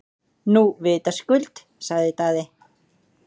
Nú vitaskuld, sagði Daði.